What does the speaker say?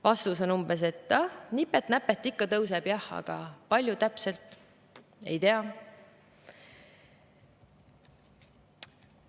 Vastus on umbes, et ah, nipet-näpet ikka tõuseb, aga kui palju täpselt, ei tea.